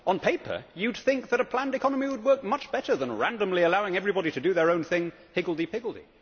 On paper you would think that a planned economy would work much better than randomly allowing everybody to do their own thing, higgledy piggledy.